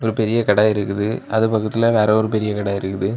ஒரு பெரிய கடை இருக்குது அது பக்கத்துல வேற ஒரு பெரிய கடை இருக்குது.